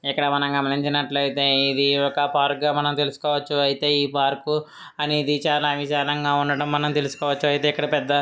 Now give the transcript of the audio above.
ఇక్కడ మనం గమనించినట్లయితే ఇది ఒక పార్క్ గా మనం తెలుసు కోవచ్చు అయితే ఈ పార్క్ అనేది చాలా విశాలంగా ఉన్నట్టు మనం తెలుసుకోవచ్చు అయితే ఇక్కడ పెద్ద--